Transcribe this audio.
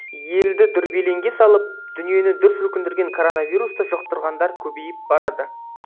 елді дүрбелеңге салып дүниені дүр сілкіндірген коронавирусты жұқтырғандар көбейіп барады